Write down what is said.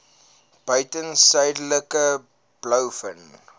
buiten suidelike blouvin